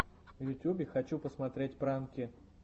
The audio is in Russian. в ютьюбе хочу посмотреть пранки